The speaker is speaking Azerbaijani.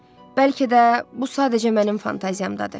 Bəlkə də bu sadəcə mənim fantaziyamdadır.